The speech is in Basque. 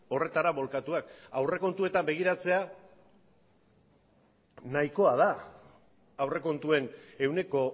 horretara bolkatuak aurrekontuetan begiratzea nahikoa da aurrekontuen ehuneko